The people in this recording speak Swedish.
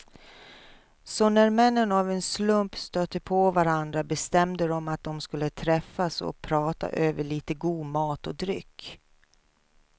Så när männen av en slump stötte på varandra bestämde de att de skulle träffas och prata över lite god mat och dryck.